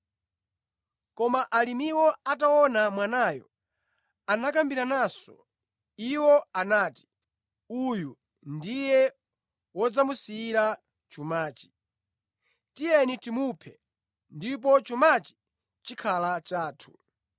“Koma alimiwo ataona mwanayo, anakambirananso. Iwo anati, ‘Uyu ndiye wodzamusiyira chumachi. Tiyeni timuphe ndipo chumachi chikhala chathu.’